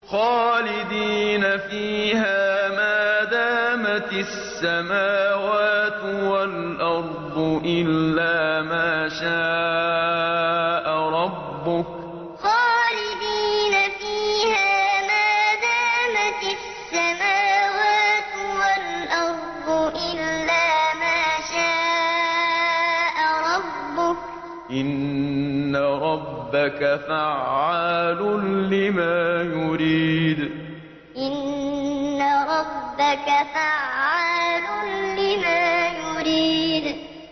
خَالِدِينَ فِيهَا مَا دَامَتِ السَّمَاوَاتُ وَالْأَرْضُ إِلَّا مَا شَاءَ رَبُّكَ ۚ إِنَّ رَبَّكَ فَعَّالٌ لِّمَا يُرِيدُ خَالِدِينَ فِيهَا مَا دَامَتِ السَّمَاوَاتُ وَالْأَرْضُ إِلَّا مَا شَاءَ رَبُّكَ ۚ إِنَّ رَبَّكَ فَعَّالٌ لِّمَا يُرِيدُ